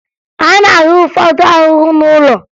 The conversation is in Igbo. A na-ahụ ụfọdụ ahụhụ n'ụlọ